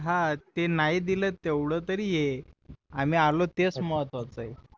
हा ते नाही दिल तेवढं तरी आहे आम्ही आलो तेच महत्वाचं आहे